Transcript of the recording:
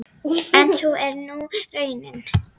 En sú er nú raunin.